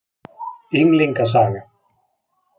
Ynglinga saga.